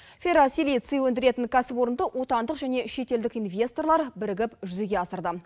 ферросилиций өндіретін кәсіпорынды отандық және шетелдік инвесторлар бірігіп жүзеге асырды